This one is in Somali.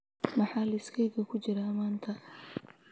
maxaa liiskayga ku jira maanta